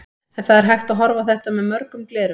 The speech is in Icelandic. En það er hægt að horfa á þetta með mörgum gleraugum.